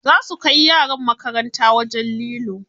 Za su kai yaran makaranta wajen lilo.